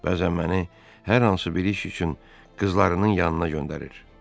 Bəzən məni hər hansı bir iş üçün qızlarının yanına göndərir.